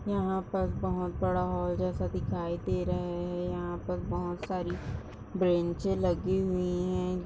यहा पर बहोत बड़ा हॉल जैसा दीखाई दे रहा है यहा पर बहोत सारी बेंचेस लगी हुई है।